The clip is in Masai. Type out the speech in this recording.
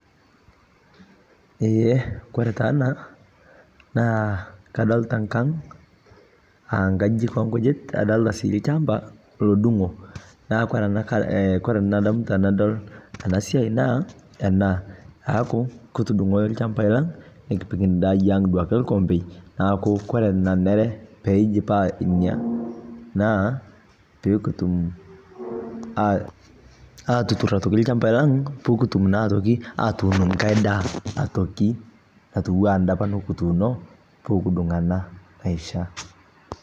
eee kore taa anaa naa kadolita nkang aa nkajijik enkujit nadolita sii lchampaa lodungoo naa kore nadamu tanadol ana siai naa ana aaku kutudungoo lshampai lang nikipik ndaa aang duake lkompei naaku kore naneree peijipaa inia naa pikitum atutur otoki lchampai lang pukutum naa otoki atuun nghai daa otaokii atuwaa anda apaa nikituuno pikidung ana naishaa